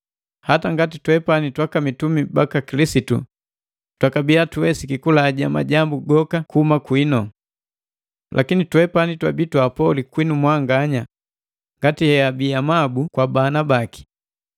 hata ngati twepani twaka mitumi baka Kilisitu, twakabia tuwesiki kulaja majambu gokapi kuhuma kwinu. Lakini twepani twabii twaapoli kwinu mwanganya ngati heabi amabu kwa bana baki.